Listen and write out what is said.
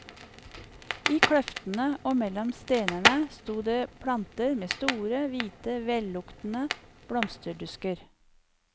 I kløftene og mellom stenene sto det planter med store, hvite, velluktende blomsterdusker.